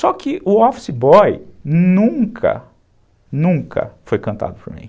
Só que o office boy nunca, nunca foi cantado por mim.